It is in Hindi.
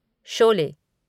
शोले